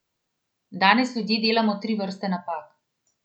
Danes ljudje delamo tri vrste napak.